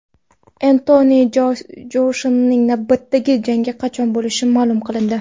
Entoni Joshuaning navbatdagi jangi qachon bo‘lishi ma’lum qilindi.